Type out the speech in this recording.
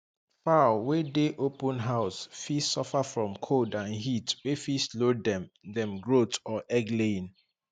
fowl wey dey open house fit suffer from cold and heat wey fit slow dem dem growth or egg laying